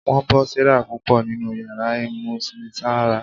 Wọn bọ Sarah púpọ ninú yàrá ìmúnisanra.